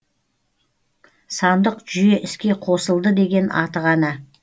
сандық жүйе іске қосылды деген аты ғана